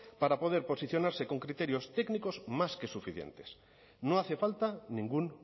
para poder posicionarse con criterios técnicos más que suficientes no hace falta ningún